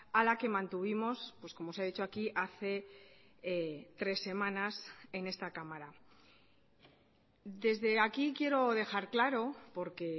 a la que mantuvimos pues como se ha dicho aquí hace tres semanas en esta cámara desde aquí quiero dejar claro porque